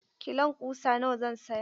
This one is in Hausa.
Kilon ƙusa nawa zan saya?